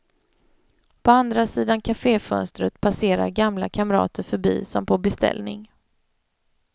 På andra sidan kaféfönstret passerar gamla kamrater förbi som på beställning.